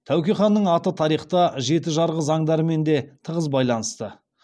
тәуке ханның аты тарихта жеті жарғы заңдарымен де тығыз байланысты